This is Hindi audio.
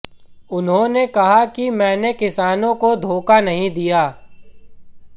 उन्होंने कहा कि मैंने किसानों को धोखा नहीं दिया